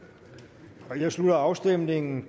vi jeg slutter afstemningen